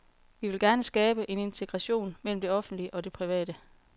Vi vil gerne skabe en integration mellem det offentlige og det private.